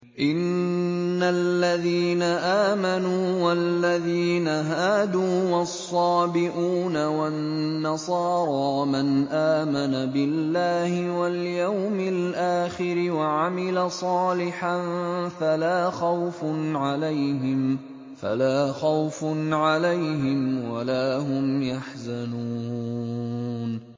إِنَّ الَّذِينَ آمَنُوا وَالَّذِينَ هَادُوا وَالصَّابِئُونَ وَالنَّصَارَىٰ مَنْ آمَنَ بِاللَّهِ وَالْيَوْمِ الْآخِرِ وَعَمِلَ صَالِحًا فَلَا خَوْفٌ عَلَيْهِمْ وَلَا هُمْ يَحْزَنُونَ